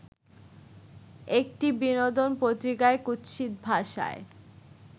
একটি বিনোদনপত্রিকায় কুৎসিত ভাষায়